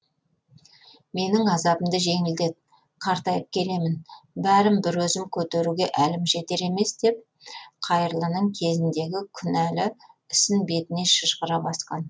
менің азабымды жеңілдет қартайып келемін бәрін бір өзім көтеруге әлім жетер емес деп қайырлының кезіндегі күнәлі ісін бетіне шыжғыра басқан